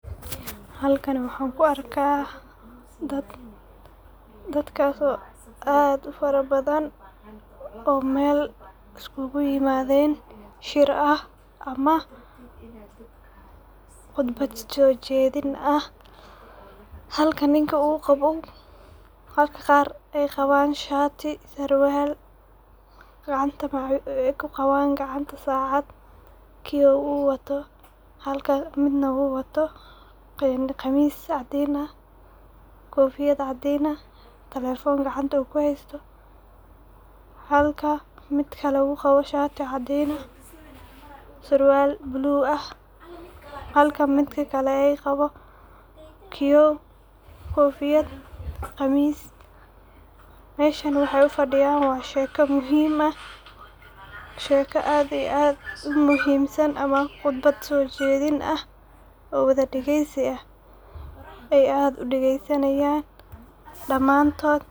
Halkan waxan ku arka dad, dadkas oo aad ufara badan, oo Mel iskugu imadeen, shir ah ama qudbad soo jeedin ah halka ninka uu qabo, halka qar ay qaban shati, sarwal gacanta ay kuqaban gacanta saacad kiyo uu wato halka midna uu wato qamiis caadin ah kofiyad caadin ah, talefon uu gacanta uu kuhaysto, waxan arka mid kale oo wato shati caadin ah sarwal blue ah, halka midka kale ay qabo kiyo, kofiyad qamis, meshan waxay ufadhiyan waa sheka muhim ah, sheka aad iyo aad umuhimsan oo qudbad soo jedin ah oo wada dhageysi ah ay aad udageysanayan dhamaantod